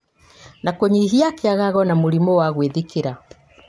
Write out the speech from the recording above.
na kũnyihia kĩagago na mũrimũ wa gwĩthikĩra